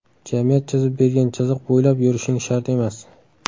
Jamiyat chizib bergan chiziq bo‘ylab yurishing shart emas.